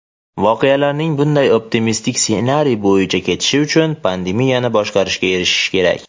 voqealarning bunday optimistik ssenariy bo‘yicha ketishi uchun pandemiyani boshqarishga erishish kerak.